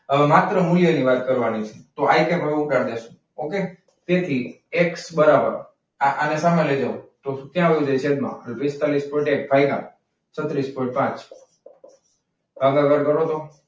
હવે માત્ર મૂલ્યની વાત કરવાની છે. તો આ કેમ ઉતારી દઈશું. તેથી એક્સ બરાબર આને સામે લઈ લેવો તો ક્યાં આવવું જોઈએ છેદમાં. પિસ્તાળીસ પોઈન્ટ એક ભાગ્યા છત્રીસ પોઇન્ટ પાંચ ભાગાકાર કરો તો.